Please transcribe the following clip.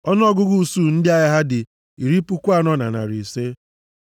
Ọnụọgụgụ usuu ndị agha ha dị iri puku anọ na narị ise (40,500).